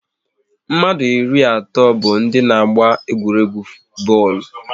Mmadụ iri na otu bụ ndị n'agba egwuregwu bọọlụ